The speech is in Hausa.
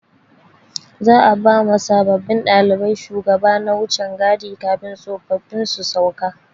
Za'a ba ma sabbin ɗalibai shugaba na wucan gadi kafin tsofaffin su sauka.